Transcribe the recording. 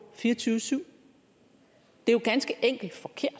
fireogtyve syv det er jo ganske enkelt forkert